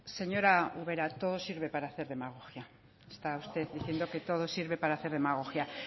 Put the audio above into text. señora ubera todo sirve para hacer demagogia está usted diciendo que todo sirve para hacer demagogia